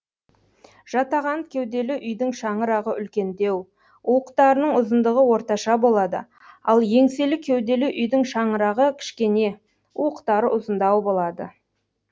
жатаған кеуделі үйдің шаңырағы үлкендеу уықтарының ұзындығы орташа болады ал еңселі кеуделі үйдің шаңырағы кішкене уықтары ұзындау болады